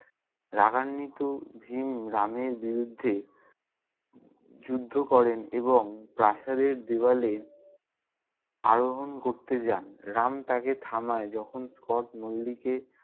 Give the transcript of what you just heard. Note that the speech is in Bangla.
রাগান্বিত ভীম রামের বিরুদ্ধে যুদ্ধ করেন এবং প্রাসাদের দেওয়ালে আরোহণ করতে যান। রাম তাকে থামায় যখন স্কট মল্লিকে-